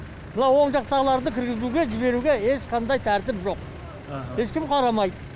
мына оң жақтағыларды кіргізуге жіберуге ешқандай тәртіп жоқ ешкім қарамайды